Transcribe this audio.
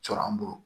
Cɔrɔ n bolo